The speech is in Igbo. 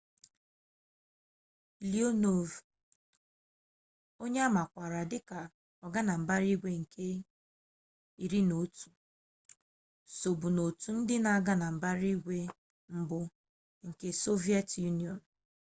leonov onye a makwaara dịka ọganambaraigwe nke 11 sobu n'otu ndị na-aga na mbara igwe mbụ nke sọviyetị yunịọnụ